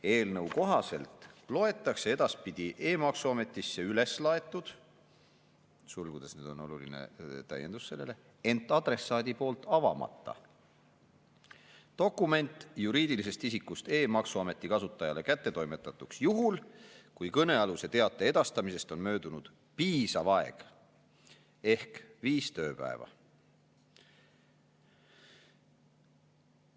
Eelnõu kohaselt loetakse edaspidi e-maksuametisse üles laetud – sulgudes on oluline täiendus sellele –, ent adressaadi poolt avamata dokument juriidilisest isikust e-maksuameti kasutajale kättetoimetatuks juhul, kui kõnealuse teate edastamisest on möödunud piisav aeg ehk viis tööpäeva.